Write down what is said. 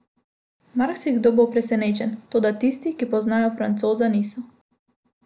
Marsikdo bo presenečen, toda tisti, ki poznajo Francoza, niso.